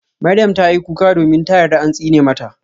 Maryam tayi kuka domin ta yarda an tsine mata.